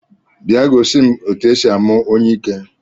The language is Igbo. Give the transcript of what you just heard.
Bịa gosi m etu e si amụ onyiike